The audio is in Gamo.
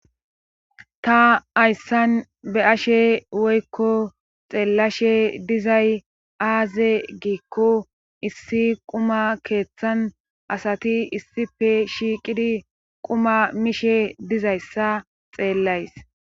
Ta ayssan be ashe woykko xeellashe dizay aaze giikko issi quma keeththan asati issife shiiqidi quma mishe dizayssa xeellays